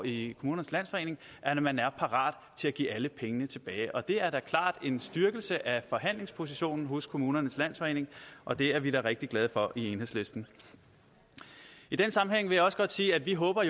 i kommunernes landsforening at man er parat til at give alle pengene tilbage det er da klart en styrkelse af forhandlingspositionen hos kommunernes landsforening og det er vi da rigtig glade for i enhedslisten i den sammenhæng vil jeg også godt sige at vi håber